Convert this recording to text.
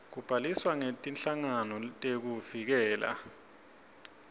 kubhaliswa kwetinhlangano tekuvikela